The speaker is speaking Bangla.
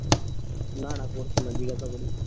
না না পড়ছে না জিজ্ঞাসা করিস